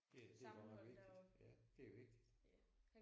Ja det er godt nok vigtigt ja det er vigtigt